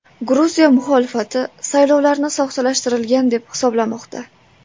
Gruziya muxolifati saylovlarni soxtalashtirilgan deb hisoblamoqda.